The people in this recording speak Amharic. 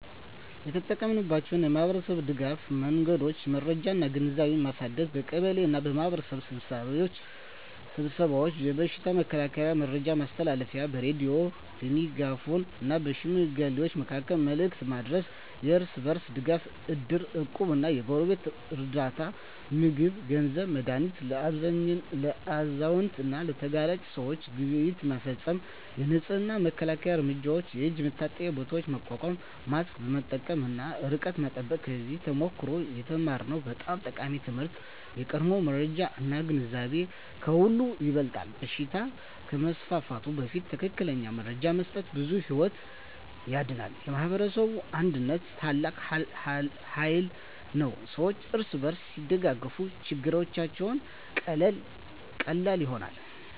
የተጠቀማችንባቸው የማኅበረሰብ ድጋፍ መንገዶች የመረጃ እና ግንዛቤ ማሳደግ በቀበሌ እና በማኅበረሰብ ስብሰባዎች የበሽታ መከላከያ መረጃ ማስተላለፍ በሬዲዮ፣ በሜጋፎን እና በሽማግሌዎች መካከል መልዕክት ማድረስ የእርስ በርስ ድጋፍ እድር፣ እቁብ እና የጎረቤት ርዳታ (ምግብ፣ ገንዘብ፣ መድሃኒት) ለአዛውንት እና ለተጋላጭ ሰዎች ግብይት መፈፀም የንፅህና እና መከላከያ እርምጃዎች የእጅ መታጠቢያ ቦታዎች ማቋቋም ማስክ መጠቀም እና ርቀት መጠበቅ ከዚያ ተሞክሮ የተማርነው በጣም ጠቃሚ ትምህርት የቀድሞ መረጃ እና ግንዛቤ ከሁሉ ይበልጣል በሽታ ከመስፋፋቱ በፊት ትክክለኛ መረጃ መስጠት ብዙ ሕይወት ያድናል። የማኅበረሰብ አንድነት ታላቅ ኃይል ነው ሰዎች እርስ በርስ ሲደጋገፉ ችግሮች ቀላል ይሆናሉ።